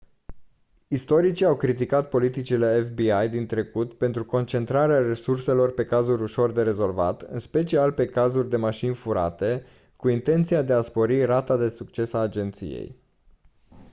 istoricii au criticat politicile fbi din trecut pentru concentrarea resurselor pe cazuri ușor de rezolvat în special pe cazuri de mașini furate cu intenția de a spori rata de succes a agenției